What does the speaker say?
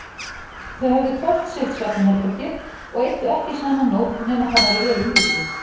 Þau höfðu hvort sitt svefnherbergið og eyddu ekki saman nótt nema það væri vel undirbúið.